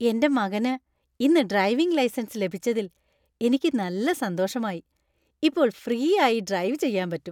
എന്‍റെ മകന് ഇന്ന് ഡ്രൈവിംഗ് ലൈസൻസ് ലഭിച്ചതിൽ എനിക്ക് നല്ല സന്തോഷമായി , ഇപ്പോൾ ഫ്രീ ആയി ഡ്രൈവ് ചെയ്യാൻ പറ്റും .